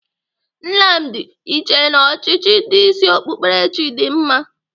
Nnamdi, ị chee na ọchịchị ndị isi okpukperechi dị mma?